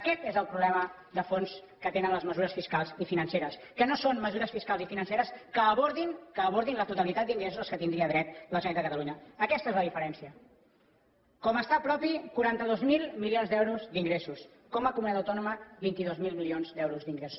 aquest és el problema de fons que tenen les mesures fiscals i financeres que no són mesures fiscals i financeres que abordin que abordin la totalitat d’ingressos a què tindria dret la generalitat de catalunya aquesta és la diferència com a estat propi quaranta dos mil milions d’euros d’ingressos com a comunitat autònoma vint dos mil milions d’euros d’ingressos